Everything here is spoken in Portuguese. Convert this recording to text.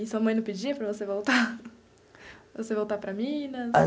E sua mãe não pedia para você voltar para você voltar para Minas?